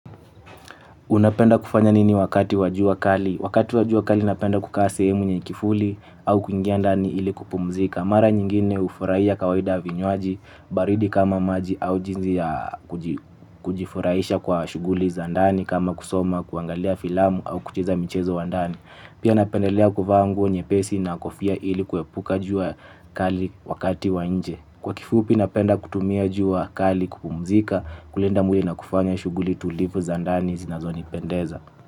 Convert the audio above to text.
Unapenda kufanya nini wakati wa jua kali? Wakati wa jua kali napenda kukaa sehemu nye kifuli au kuingia ndani ili kupumzika. Mara nyingine ufurahia kawaida vinywaji baridi kama maji au jinsi ya kujifuraisha kwa shuguli za ndani kama kusoma kuangalia filamu au kucheza michezo wa ndani. Pia napendelea kuvaa nguo nyepesi na kofia ili kuepuka jua kali wakati wa nje. Kwa kifupi napenda kutumia jua kali kupumzika kulinda mwili na kufanya shuguli tulivu za ndani zinazonipendeza.